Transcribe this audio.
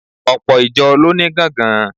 Ọ̀pọ̀ ìjọ ló ní gángan.